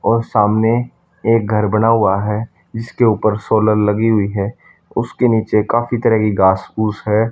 और सामने एक घर बना हुआ है। इसके ऊपर सोलर लगी हुई है उसके नीचे काफी तरह की घास फूस है।